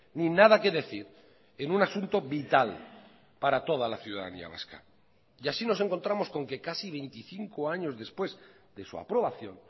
ni nada que decir en un asunto vital para toda la ciudadanía vasca y así nos encontramos con que casi veinticinco años después de su aprobación